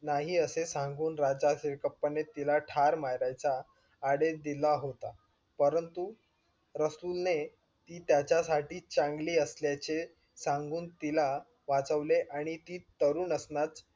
नाही असे सांगून राजा सिरकप्पाने तिला ठार मारायचा आदेश दिला होता. परंतु रसूल ने ती त्याच्या साठी चांगली असल्याचे सांगून तिला वाचवले आणि ती तरुण असणंच